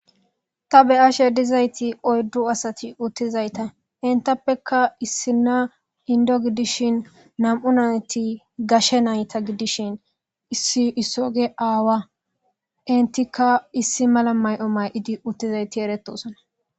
Ta be7ashe dizayti oyddu asati uttizayta entappeka issina indo gidishin nam7u nayti gashe nayta gidishin issi issoge aawa entikka issi mala may7o mayidi uttizayti eretosana.